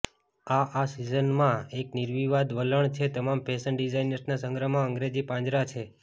આ આ સિઝનમાં એક નિર્વિવાદ વલણ છે તમામ ફેશન ડિઝાઇનર્સના સંગ્રહમાં અંગ્રેજી પાંજરા હાજર છે